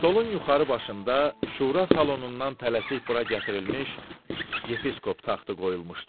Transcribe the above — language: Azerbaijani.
Stolun yuxarı başında şura salonundan tələsik bura gətirilmiş Yepiskop taxtı qoyulmuşdu.